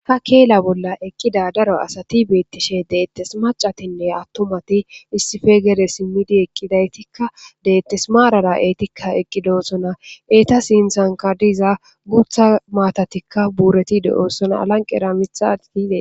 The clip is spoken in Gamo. ha keela bolla eqqida daro asati beettishe deettes macatinne attomati issife gere simmidi eqqidaytikka deettes maarara eetikka eqqidoosona eeta sintsankadiza gutha maatatikka buuretide7oossona alanqera mitha tizee